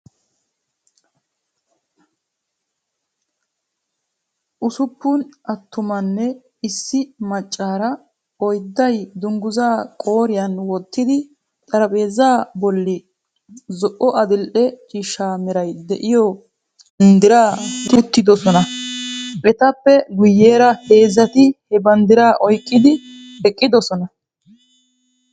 Ussuppun attumanne, issi maccaara oydday dungguzaa qooriyan wottidi, xaraphpheeza bolli zo"o adil"e ciishsha meray de"iyoo banddira wottidi uttidosan. etappe guyera heezati he banddiraa oyqqidi eqidosona.